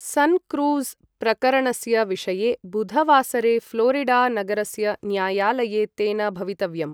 सनक्रूज़् प्रकरणस्य विषये बुधवासरे फ़्लोरिडा नगरस्य न्यायालये तेन भवितव्यम्।